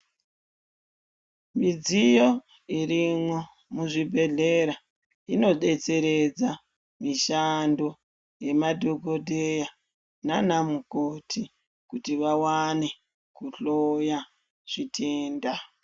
Midziyo irimo muzvibhedhlera inodetseredza mishando yemadhokodheya nanamukoti, kuti vawane kuhloya zvitenda.